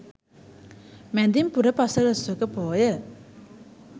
මැදින් පුර පසළොස්වක පෝය